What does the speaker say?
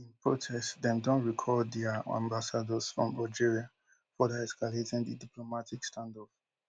in protest dem don recall dia ambassadors from algeria further escalating di diplomatic standoff